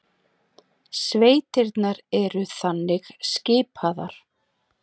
Sveitirnar eru þannig skipaðar